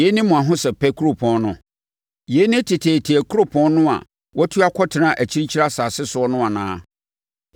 Yei ne mo ahosɛpɛ kuropɔn no? Yei ne teteete kuropɔn no a watu akɔtena akyirikyiri nsase soɔ no anaa?